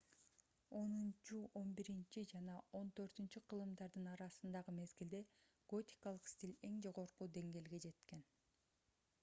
10-11 жана 14-кылымдардын арасындагы мезгилде готикалык стиль эң жогорку деңгээлге жеткен